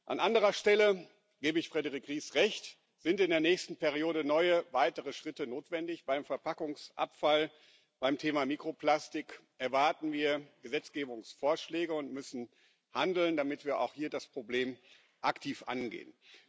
An anderer Stelle gebe ich Frédérique Ries Recht, da sind in der nächsten Periode neue, weitere Schritte notwendig Beim Verpackungsabfall, beim Thema Mikroplastik erwarten wir Gesetzgebungsvorschläge und müssen handeln, damit wir auch hier das Problem aktiv angehen.